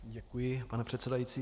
Děkuji, pane předsedající.